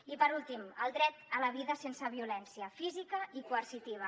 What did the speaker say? i per últim el dret a la vida sense violència física i coercitiva